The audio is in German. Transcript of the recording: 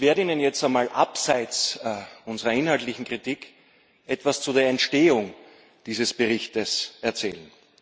Ich werde Ihnen jetzt einmal abseits unserer inhaltlichen Kritik etwas zu der Entstehung dieses Berichtes erzählen.